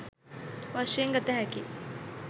වශයෙන් ගත හැකියි